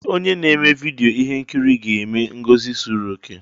Ee! Onye na-eme vidyo ihe nkiri ga-eme ngosi zuru okè.